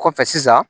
Kɔfɛ sisan